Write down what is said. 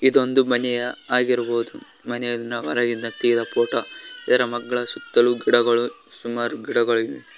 ಇದೊಂದು ಮನೆಯ ಆಗಿರಬಹುದು ಮನೆಯ ಹೊರಗಿಂದ ತೆಗೆದ ಫೋಟೋ ಇದರ ಮಗ್ಗಲ ಸುತ್ತಲೂ ಗಿಡಗಳು ಸುಮಾರು ಗಿಡಗಳಿವೆ.